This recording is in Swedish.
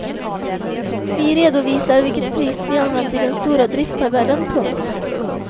Vi redovisar vilket pris vi använt i den stora drifttabellen. punkt